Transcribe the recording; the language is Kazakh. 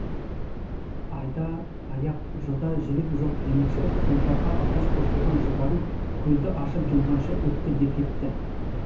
айда аяқ жылда жілік жоқ демекші сұңқарға алғаш қосылған жылдарым көзді ашып жұмғанша өтті де кетті